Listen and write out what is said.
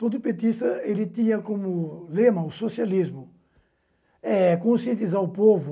Todo petista ele tinha como lema o socialismo, é conscientizar o povo